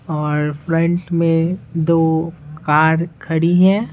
और फ्रंट में दो कार खड़ी है।